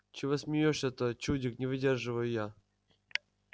чего смеёшься-то чудик не выдерживаю я